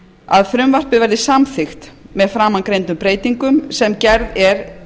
að frumvarpið verði samþykkt með framangreindum breytingum sem gerð er